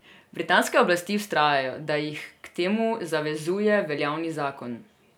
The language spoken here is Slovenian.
Britanske oblasti vztrajajo, da jih k temu zavezuje veljavni zakon.